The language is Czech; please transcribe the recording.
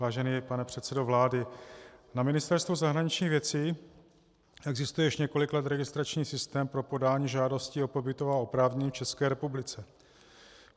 Vážený pane předsedo vlády, na Ministerstvu zahraničních věcí existuje již několik let registrační systém pro podání žádosti o pobytová oprávnění v České republice.